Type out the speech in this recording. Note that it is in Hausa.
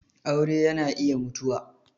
aure yana iya mutuwa.